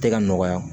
Tɛ ka nɔgɔya